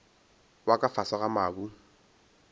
wa ka fase ga mabu